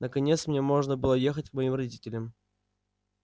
наконец мне можно было ехать к моим родителям